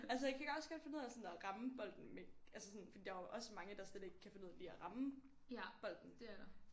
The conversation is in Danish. Altså jeg kan også godt finde ud af sådan at ramme bolden altså sådan fordi der er jo også mange der slet ikke kan finde ud af lige at ramme bolden